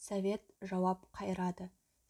совет жауап қайырады